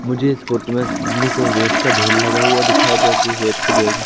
मुझे इस फोटो में सामने की ओर रेत का ढेर लगा हुआ दिखाई दे जिस रेट के ढेर में--